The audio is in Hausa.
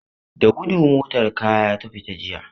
Da gudu motar kaya ta fita jiya.